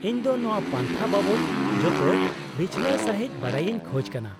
-ᱤᱧ ᱫᱚ ᱱᱚᱶᱟ ᱯᱟᱱᱛᱷᱟ ᱵᱟᱵᱚᱫ ᱡᱚᱛᱚ ᱵᱤᱪᱷᱱᱟᱹᱣ ᱥᱟᱹᱦᱤᱫ ᱵᱟᱰᱟᱭᱤᱧ ᱠᱷᱚᱡ ᱠᱟᱱᱟ ᱾